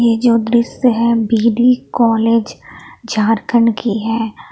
ये जो दृश्य है बी डी कॉलेज झारखंड की है।